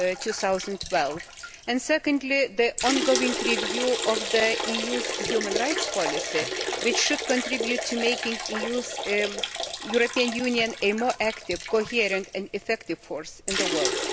2012. Secondly, there is the ongoing review of the EU's human rights policy, which should contribute to making the European Union a more active, coherent and effective force in the world.